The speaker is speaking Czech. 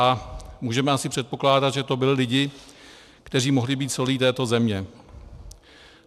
A můžeme asi předpokládat, že to byli lidi, kteří mohli být solí této země.